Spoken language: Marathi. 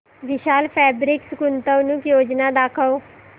विशाल फॅब्रिक्स गुंतवणूक योजना दाखव